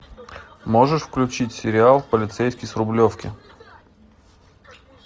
можешь включить сериал полицейский с рублевки